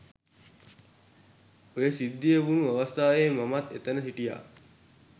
ඔය සිද්ධිය වුණු අවස්ථාවේ මමත් එතැන හිටියා.